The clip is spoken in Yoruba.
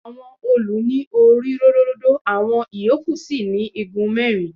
Àwọn òòlù ní orí ródóródó, àwọn ìyókù sì ni igun mẹ́rin.